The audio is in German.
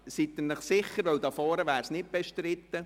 – Sind Sie sich sicher?